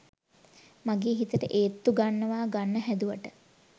මගෙ හිතට ඒත්තු ගන්නව ගන්න හැදුවට